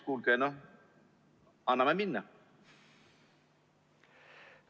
No kuulge, anname minna!